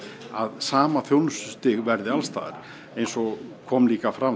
að sama þjónustustig verði alls staðar eins og kom líka fram